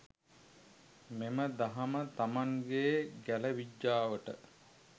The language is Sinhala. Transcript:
මෙම දහම තමන්ගේ ගැල විජ්ජාවට